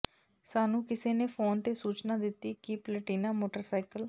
ਸਾਨੂੰ ਕਿਸੇ ਨੇ ਫੋਨ ਤੇ ਸੂਚਨਾ ਦਿੱਤੀ ਕਿ ਪਲਟੀਨਾ ਮੋਟਰਸਾਈਕਲ